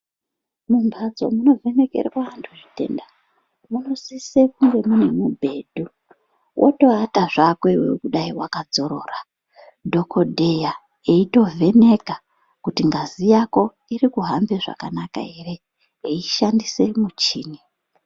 Mumhatso munovhenekerwa anhu zvitenda munosise kunge mune mubhedhu wotoata zvako kudai wakadzorora dhokodheya eitovheneka kuti ngazi yako irikuhambe zvakanaka ere eishandise muchini.